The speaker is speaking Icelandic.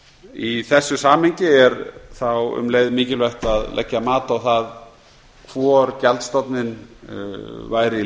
í þessu samhengi er þá um leið mikilvægt að leggja mat á það hvor gjaldstofninn væri